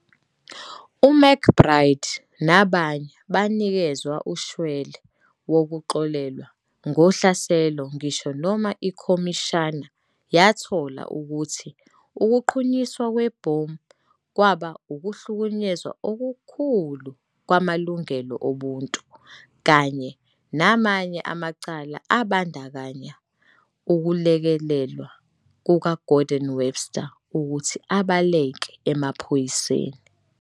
UMcBride nabanye banikezwa ushwele wokuxolelwa ngohlaselo ngisho noma ikhomishana yathola ukuthi ukuqhunyiswa kwebhomu kwaba"ukuhlukunyezwa okukhulu kwamalungelo obuntu", kanye namanye amacala abandakanya ukulekelelwa kukaGordon Webster ukuthi abaleke emaphoyiseni.